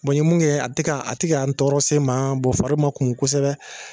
Bɔn n ye mun kɛ a te ka a te ka n tɔɔrɔ sen n ma bɔn fari ma kumu kosɛbɛ